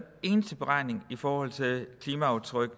eneste beregning i forhold til klimaaftryk